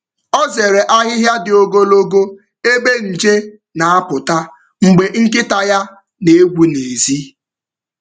Ọ zere ahịhịa dị ogologo ebe nje na-apụta mgbe nkịta ya na-egwu n’èzí.